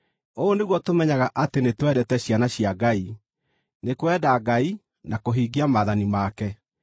Ũũ nĩguo tũmenyaga atĩ nĩtwendete ciana cia Ngai: nĩ kwenda Ngai na kũhingia maathani make.